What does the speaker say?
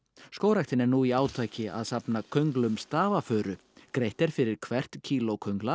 skógræktin er nú í átaki að safna könglum stafafuru greitt er fyrir hvert kíló